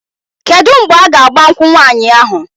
Kedu mgbe a ga-agba nkwụ nwaanyị ahụ?